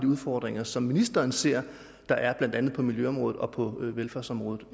udfordringer som ministeren ser der er blandt andet på miljøområdet og på velfærdsområdet